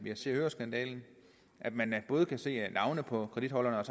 i se og hør skandalen at man både kan se navne på kortholderne og